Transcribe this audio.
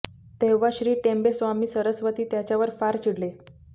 तेव्हा श्री टेंबे स्वामी सरस्वती त्याच्यावर फार चिडले